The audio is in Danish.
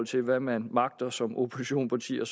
til hvad man magter som oppositionsparti og